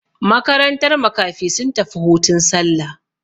Makarantar makafi sun tafi hutun sallah.